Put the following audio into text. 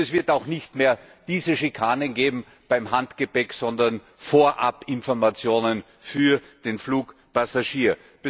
Und es wird auch nicht mehr diese Schikanen geben beim Handgepäck, sondern Vorabinformationen für den Flugpassagier.